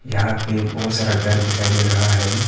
यहां पे बहोत सारा घर दिखाई दे रहा है।